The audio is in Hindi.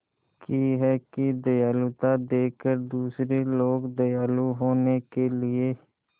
की है कि दयालुता देखकर दूसरे लोग दयालु होने के लिए